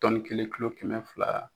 Tɔnni kelen kulo kɛmɛ fila.